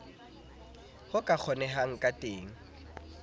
ho ka kgonehang ka teng